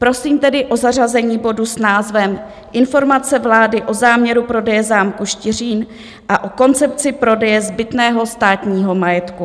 Prosím tedy o zařazení bodu s názvem Informace vlády o záměru prodeje zámku Štiřín a o koncepci prodeje zbytného státního majetku.